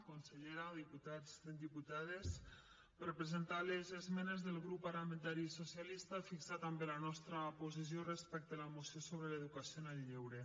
consellera diputats diputades per a presentar les esmenes del grup parlamentari socialista i fixar també la nostra posició respecte a la moció sobre l’educació en el lleure